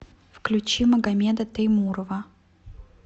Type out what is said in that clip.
включи магамеда теймурова